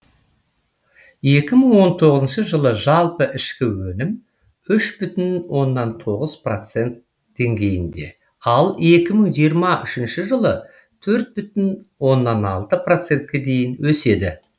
екі мың он тоғызыншы жылы жалпы ішкі өнім үш бүтін оннан тоғыз процент деңгейінде ал екі мың жиырма үшінші жылы төрт бүтін оннан алты процентке дейін өседі